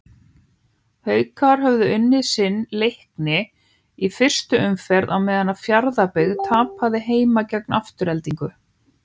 Haukar höfðu unnið sinn Leikni í fyrstu umferð á meðan Fjarðarbyggð tapaði heima gegn Aftureldingu.